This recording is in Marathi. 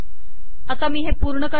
आता मी हे पूर्ण करते